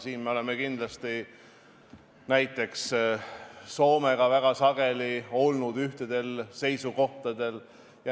Siin me oleme kindlasti olnud sageli näiteks Soomega samal seisukohal.